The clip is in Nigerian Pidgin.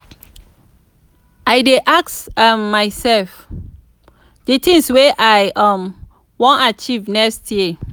i dey ask um mysef di tins wey i um wan achieve next year.